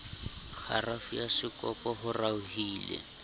kgarafu ya sekopo ho raohile